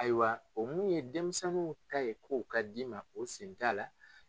Ayiwa o mun ye denmisɛnninw ta ye, ko ka d'i ma o sen t'a la.